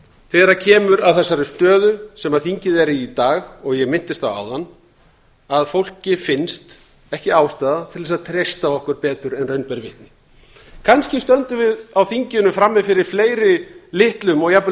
þegar kemur að þessari stöðu sem þingið er í í dag og ég minntist á áðan að fólki finnst ekki ástæða til þess að treysta okkur betur en raun ber vitni kannski stöndum við á þinginu frammi fyrir fleiri litlum og jafnvel